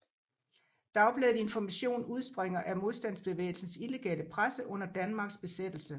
Dagbladet Information udspringer af modstandsbevægelsens illegale presse under Danmarks besættelse